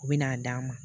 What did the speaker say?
U bɛ n'a d'an ma